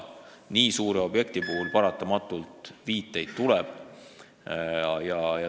Nii suure objekti puhul paratamatult venimist tuleb.